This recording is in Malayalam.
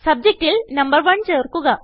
സബ്ജക്റ്റിൽ നമ്പർ 1 ചേർക്കുക